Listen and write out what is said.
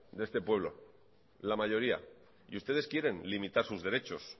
de este pueblo y ustedes quieren limitar sus derechos